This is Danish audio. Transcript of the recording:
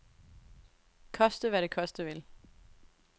Koste hvad det koste vil.